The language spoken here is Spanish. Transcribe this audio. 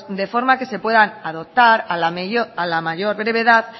de forma que se puedan adoptar a la mayor brevedad